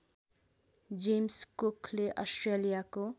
James कुकले अस्ट्रेलियाको